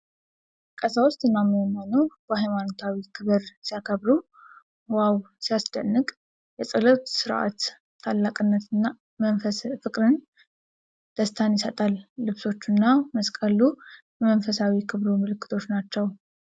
ቀሳውስቱ እና ምእመናኑ በሃይማኖታዊ ክብር ሲያበሩ ! ዋው ሲያስደንቅ ! የጸሎቱ ሥርዓት ታላቅነት ፍቅርንና ደስታን ይሰጣል። ልብሶቹና መስቀሉ የመንፈሳዊ ክብሩ ምልክቶች ናቸው።